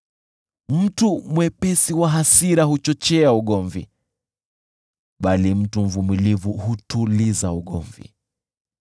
Mtu mwepesi wa hasira huchochea ugomvi, bali mtu mvumilivu hutuliza ugomvi.